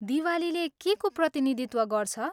दिवालीले केको प्रतिनिधित्व गर्छ?